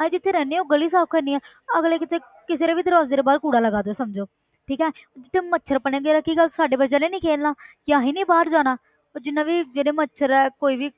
ਅਸੀਂ ਜਿੱਥੇ ਰਹਿੰਦੇ ਹਾਂ ਉਹ ਗਲੀ ਸਾਫ਼ ਕਰਨੀ ਹੈ ਅਗਲੇ ਕਿਸੇ ਕਿਸੇ ਦੇ ਵੀ ਦਰਵਾਜ਼ੇ ਦੇ ਬਾਹਰ ਕੂੜਾ ਲਗਾ ਦਓ ਸਮਝੋ ਠੀਕ ਹੈ ਤੇ ਮੱਛਰ ਬਣੇਗਾ ਤੇ ਕੀ ਗੱਲ ਸਾਡੇ ਬੱਚਿਆਂ ਨੇ ਨੀ ਖੇਡਣਾ ਕਿ ਅਸੀਂ ਨੀ ਬਾਹਰ ਜਾਣਾ ਉਹ ਜਿੰਨਾ ਵੀ ਜਿਹੜੇ ਮੱਛਰ ਹੈ ਕੋਈ ਵੀ